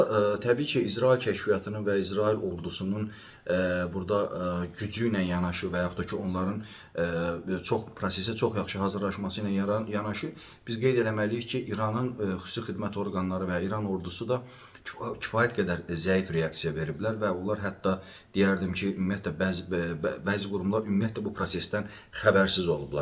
Burda təbii ki, İsrail kəşfiyyatının və İsrail ordusunun burda gücü ilə yanaşı və yaxud da ki, onların çox prosesə çox yaxşı hazırlaşması ilə yanaşı biz qeyd eləməliyik ki, İranın xüsusi xidmət orqanları və İran ordusu da kifayət qədər zəif reaksiya veriblər və onlar hətta deyərdim ki, ümumiyyətlə bəzi bəzi qurumlar ümumiyyətlə bu prosesdən xəbərsiz olublar.